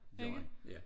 Det gør han ja